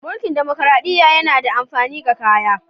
Munkil damakaraɗiya yana da amafini ga kaya.